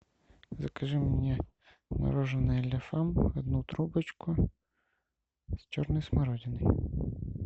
закажи мне мороженое ля фам одну трубочку с черной смородиной